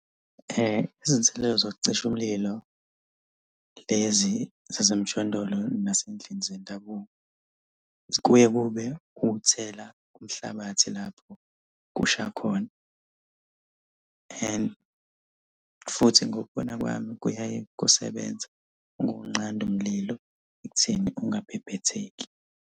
Izinselelo zokucisha umlilo, lezi zasemjondolo nasey'ndlini zendabuko, kuye kube ukuthela umhlabathi lapho kusha khona. And futhi ngokubona kwami kuyaye kusebenze ukunqanda umlilo ekutheni ungabhebhetheki.